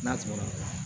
N'a tɛmɛna